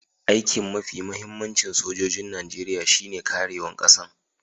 Aiki'n mafi muhimmancin sojoji'n Nijeriya shine karewan Kasan.